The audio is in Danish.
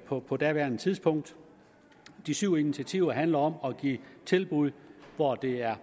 på på daværende tidspunkt de syv initiativer handler om at give tilbud hvor det er